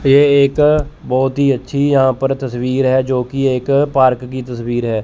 ये एक बहुत ही अच्छी यहां पर तस्वीर है जो कि एक पार्क की तस्वीर है।